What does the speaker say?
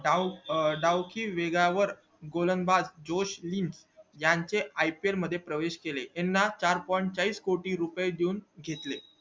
डाव अं डावती वेगा वर गोलणंदबाज जोश नि यांचे ipl मध्ये प्रवेश केले चार point चाळीस कोटी रुपये देऊन घेतले